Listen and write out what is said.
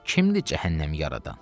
Kimdir cəhənnəm yaradan?